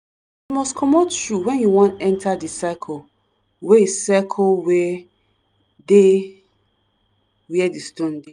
you must comot shoe when you wan enter di circle wey circle wey dey where di stone dey.